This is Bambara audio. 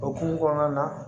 Okumu kɔnɔna na